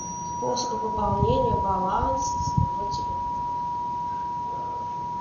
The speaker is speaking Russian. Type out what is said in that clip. способы пополнения баланса своего телефона